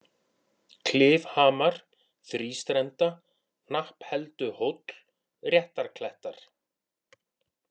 Klifhamar, Þrístrenda, Hnapphelduhóll, Réttarklettar